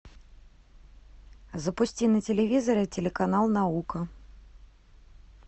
запусти на телевизоре телеканал наука